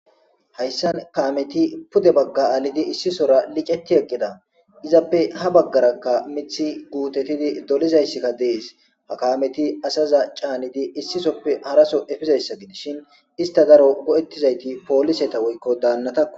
Hayssan kaameti pude bagga aalidi issisora liceti eqqida izappe ha baggarakka mithi guutetidi dolizayssikka dees ha kaameti asaza caanidi issisoppe haraso efizayssa gidishin ista daro go'ettizayti pooliseta woykko daannata.